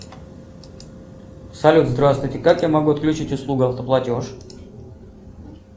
салют здравствуйте как я могу отключить услугу автоплатеж